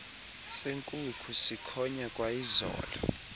senkukhu sikhonya kwayizolo